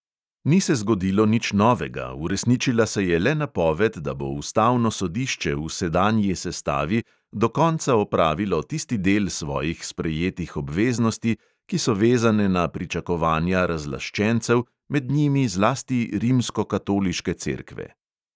Ni se zgodilo nič novega, uresničila se je le napoved, da bo ustavno sodišče v sedanji sestavi do konca opravilo tisti del svojih sprejetih obveznosti, ki so vezane na pričakovanja razlaščencev, med njimi zlasti rimskokatoliške cerkve.